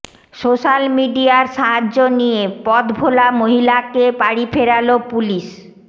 social মিডিয়ার সাহায্য নিয়ে পথভোলা মহিলাকে বাড়ি ফেরাল পুলিশ